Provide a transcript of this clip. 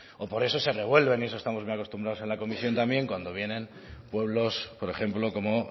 o por eso se revuelven y a eso estamos muy acostumbrados en la comisión también cuando vienen pueblos por ejemplo como